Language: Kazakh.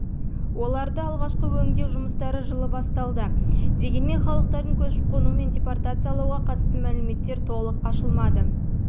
оларды алғашқы өңдеу жұмыстары жылы басталды дегенмен халықтардың көшіп-қонуы мен депортациялауға қатысты мәліметтер толық ашылмады бұл